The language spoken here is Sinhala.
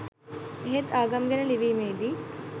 එහෙත් ආගම් ගැන ලිවීමේදි